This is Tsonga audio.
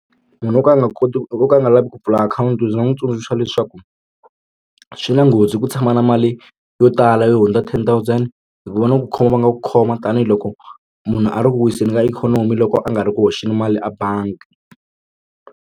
Munhu wo ka a nga koti ku o ka a nga lavi ku pfula akhawunti ndzi nga n'wi tsundzuxa leswaku swi na nghozi ku tshama na mali yo tala yo hundza ten thousand hi ku va na ku khoma va nga ku khoma tanihiloko munhu a ri ku wiseni ka ikhonomi loko a nga ri ku hoxeni mali a bangi.